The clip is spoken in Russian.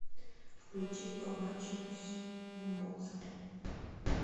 включи побачимось бумбокса